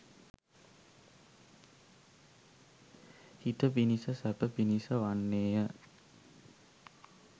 හිත පිණිස සැප පිණිස වන්නේය.